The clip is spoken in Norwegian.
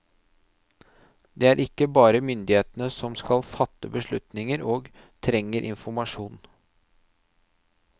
Det er ikke bare myndighetene som skal fatte beslutninger og trenger informasjon.